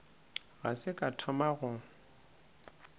ga se ka thoma go